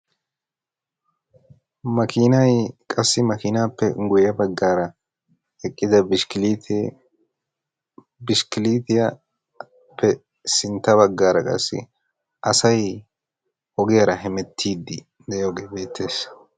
Maakinay qassi maakinaappe guye baggaara eqqida bishikilitee. bishikilitiyaappe sintta baggaara qassi asay ogiyaara hemeettiidi de'iyoogee beettees.